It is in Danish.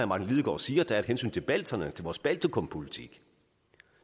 martin lidegaard siger at der er et hensyn til balterne til vores baltikumpolitik